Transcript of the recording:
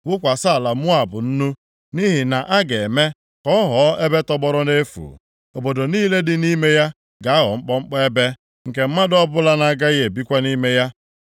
Wụkwasị ala Moab nnu, nʼihi na a ga-eme ka ọ ghọọ ebe tọgbọrọ nʼefu. Obodo niile dị nʼime ya ga-aghọ mkpọmkpọ ebe, nke mmadụ ọbụla na-agaghị ebikwa nʼime ya.